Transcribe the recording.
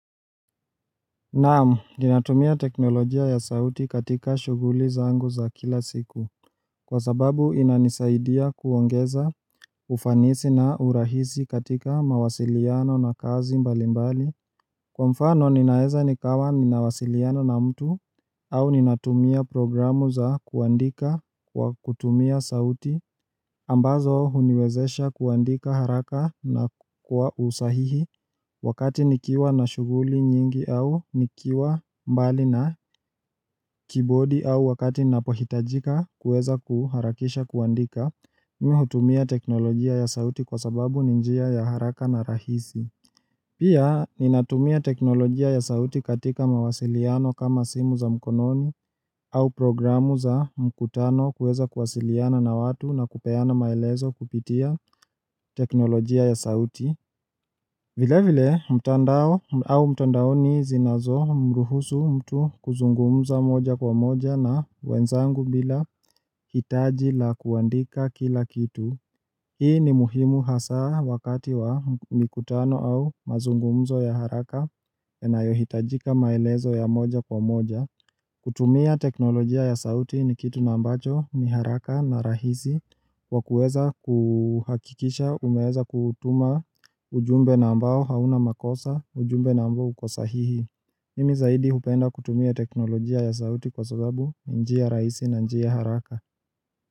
Naam, ninatumia teknolojia ya sauti katika shughuli zangu za kila siku Kwa sababu inanisaidia kuongeza ufanisi na urahisi katika mawasiliano na kazi mbali mbali Kwa mfano ninaeza nikawa ninawasiliana na mtu au ninatumia programu za kuandika kwa kutumia sauti ambazo uniwezesha kuandika haraka na kwa usahihi Wakati nikiwa na shuhguli nyingi au nikiwa mbali na keyboardi au wakati napohitajika kueza kuharakisha kuandika mimi hutumia teknolojia ya sauti kwa sababu ni njia ya haraka na rahisi Pia ninatumia teknolojia ya sauti katika mawasiliano kama simu za mkononi au programu za mkutano kuweza kwasiliana na watu na kupeana maelezo kupitia teknolojia ya sauti vile vile mtandao au mtandao ni zinazo mruhusu mtu kuzungumza moja kwa moja na wenzangu bila hitaji la kuandika kila kitu Hii ni muhimu hasaa wakati wa mikutano au mazungumzo ya haraka yanayohitajika maelezo ya moja kwa moja kutumia teknolojia ya sauti ni kitu nambacho ni haraka na rahisi wa kueza kuhakikisha umeweza kutuma ujumbe nambao hauna makosa ujumbe nambo uko sahihi Mimi zaidi hupenda kutumia teknolojia ya sauti kwa sababu njia rahisi na njia haraka.